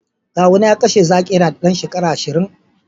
kawuna ya kashe zaki yana dan shekara ashirin